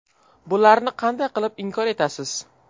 Bularni qanday qilib inkor etasiz?